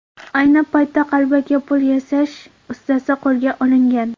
Ayni paytda qalbaki pul yasash ustasi qo‘lga olingan.